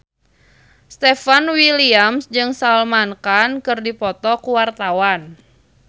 Stefan William jeung Salman Khan keur dipoto ku wartawan